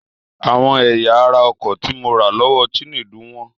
Àwọn ẹ̀yà ara ọkọ̀ tí mo rà lọ́wọ́ Chinedu wọ́n.